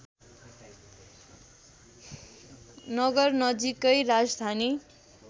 नगर नजीकै राजधानी